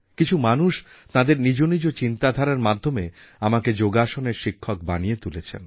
কিছু মানুষ তাঁদের নিজ নিজ চিন্তাধারার মাধ্যমে আমাকে যোগাসনের শিক্ষক বানিয়ে তুলেছেন